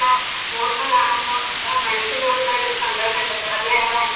പോക്ക് കാണുമ്പോ ആ മനസ്സിലുള്ളൊരു സന്തോഷമുണ്ടല്ലോ അത് വേറെ തന്നെയാ